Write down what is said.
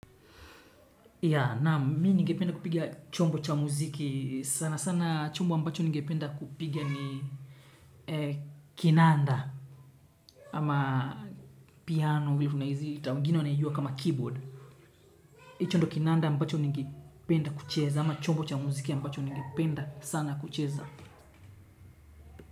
Ya, naam, mi ningependa kupiga chombo cha muziki sana sana chombo ambacho ningependa kupiga ni kinanda ama piano ili kuna hizi wengine wanaijua kama keyboard. Hicho ndo kinanda ambacho ningependa kucheza ama chombo cha muziki ambacho ningependa sana kucheza.